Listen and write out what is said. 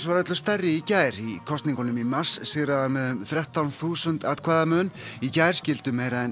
var öllu stærri í gær í kosningunum í mars sigraði hann með um þrettán þúsund atkvæða mun í gær skildu meira en